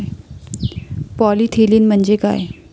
Polythene म्हणजे काय?